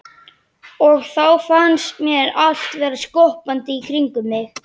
Og þá fannst mér allt vera skoppandi í kringum mig.